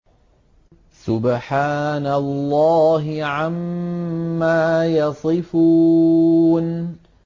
سُبْحَانَ اللَّهِ عَمَّا يَصِفُونَ